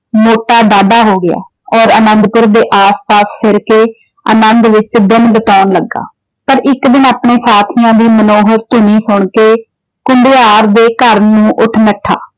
ਮੋਟਾ ਡਾਢਾ ਹੋ ਗਿਆ। ਔਰ ਅਨੰਦਪੁਰ ਦੇ ਆਸ-ਪਾਸ ਤੁਰ ਕੇ ਅਨੰਦ ਵਿੱਚ ਦਿਨ ਬਿਤਾਉਂਣ ਲੱਗਾ । ਪਰ ਇੱਕ ਦਿਨ ਆਪਣੇ ਸਾਥੀਆਂ ਦੀ ਮਨੋਹਕ ਧੁਨੀ ਸੁਣ ਕੇ ਘੁਮਿਆਰ ਦੇ ਘਰ ਨੂੰ ਉੱਠ ਨੱਠਾ।